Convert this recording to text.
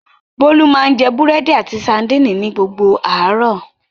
Bólú máa ń jẹ búrẹ́dì àti sadínì ni gbogbo àárọ̀.